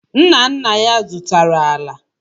Nna nna ya zụtara ala.